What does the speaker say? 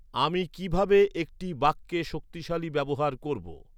আমি কিভাবে একটি বাক্যে শক্তিশালী ব্যবহার করব?